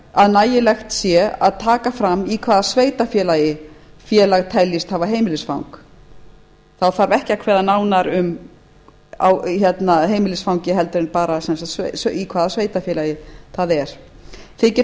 að nægilegt sé að taka fram í hvaða sveitarfélagi félag teljist hafa heimilisfang þá þarf ekki að kveða nánar á um heimilisfang en bara í hvaða sveitarfélagi það er þykir